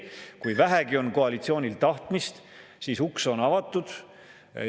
Kui koalitsioonil on vähegi tahtmist, siis uks on avatud.